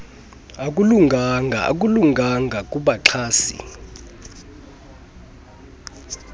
akulunganga akulunganga kubaxhasi